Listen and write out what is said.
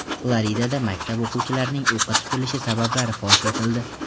Floridada maktab o‘quvchilarining o‘qqa tutilishi sabablari fosh etildi.